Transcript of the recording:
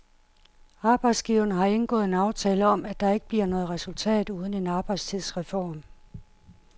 Arbejdsgiverne har indgået en aftale om, at der ikke bliver noget resultat uden en arbejdstidsreform.